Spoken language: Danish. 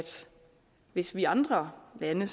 hvis vi andre lande